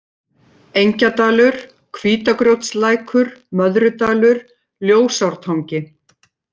Engjadalur, Hvítagrjótslækur, Möðrudalur, Ljósártangi